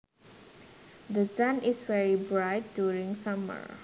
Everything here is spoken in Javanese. The sun is very bright during summer